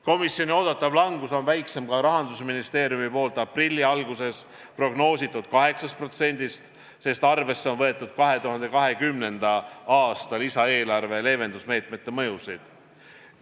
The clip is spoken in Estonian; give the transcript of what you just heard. Komisjoni oodatav langus on väiksem ka Rahandusministeeriumi poolt aprilli alguses prognoositud 8%-st, sest arvesse on võetud 2020. aasta lisaeelarve leevendusmeetmete mõjusid.